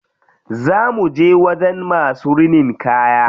Za muje wajen masu rinin kaya.